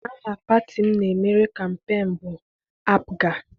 Aha pati m na-emere kampeenu bụ APGA.